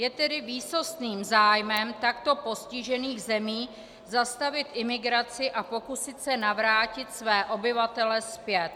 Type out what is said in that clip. Je tedy výsostným zájmem takto postižených zemí zastavit imigraci a pokusit se navrátit své obyvatele zpět.